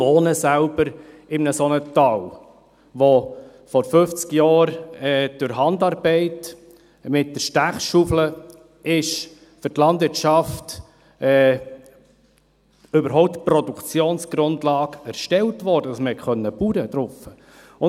Ich wohne selbst in einem solchen Tal, in welchem vor 50 Jahren durch Handarbeit mit der Stechschaufel für die Landwirtschaft die Produktionsgrundlage erstellt wurde, damit man darauf Landwirtschaft betreiben konnte.